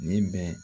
Nin bɛ